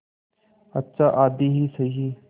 अच्छा आधी ही सही